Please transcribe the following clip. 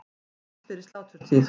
Helst fyrir sláturtíð.